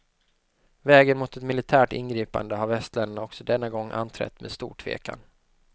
Vägen mot ett militärt ingripande har västländerna också denna gång anträtt med stor tvekan.